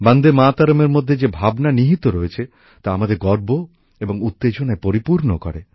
বন্দেমাতরম এর মধ্যে যে ভাবনা নিহিত রয়েছে তা আমাদের গর্ব এবং উত্তেজনায় পরিপূর্ণ করে